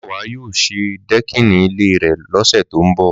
Máyọ̀wá yóò ṣe dẹ́kìnì ilé rẹ̀ lọ́sẹ̀ tó ń bọ̀